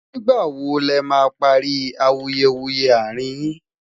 nígbà wò lè má parí awuyewuye arin yín